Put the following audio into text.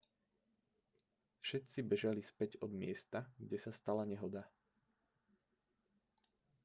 všetci bežali späť od miesta kde sa stala nehoda